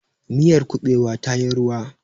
miyar kubewa ta yi ruwa